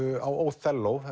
á